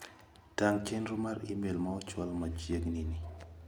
Tang' chenro mar imel ma ochwal machieg'ni ni.